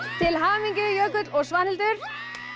til hamingju Jökull og Svanhildur